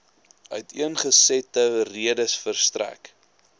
uiteengesette redes verstrek